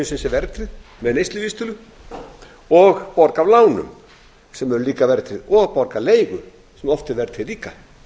sem er verðtryggð framfærsla heimilisins er verðtryggð með neysluvísitölu og borga af lánum sem eru líka verðtryggð og borga leigu sem oft er verðtryggð líka